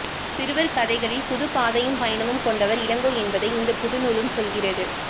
சிறுவர்கதைகளில் புது பாதையும் பயணமும் கொண்டவர் இளங்கோ என்பதை இந்த புது நூலும் சொல்கிறது